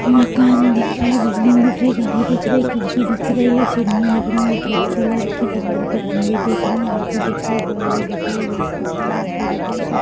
मकान दिख रहा है बिल्डिंग दिख रही है घड़ी दिख रही है खिड़की दिख रही है सीलिंगे दिख रही हैं वाइट कलर की तार के खंबे दिख रहे हैं ऑटो दिख रही है गाडी दिख रही है